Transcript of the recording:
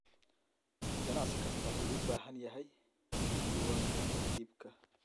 Ganacsi kastaa wuxuu u baahan yahay diiwaanada iibka.